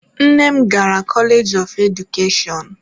Nne m gara koleeji of Edukeshọn.